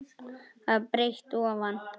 að breidd ofan.